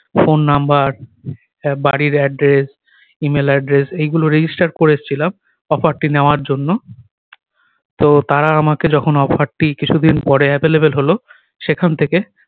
phone number এ বাড়ির address email address এই গুলো register করে এসছিলাম offer টি নেওয়ার জন্য তো তারা আমাকে যখন offer টি কিছু দিন পরে available হল সেখান থেকে